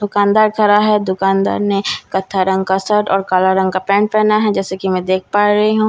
दुकानदार खड़ा है दुकानदार ने कथा रंग का शर्ट और काला रंग का पेंट पहना है जैसे कि मैं देख पा रही हूं।